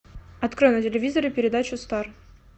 открой на телевизоре передачу стар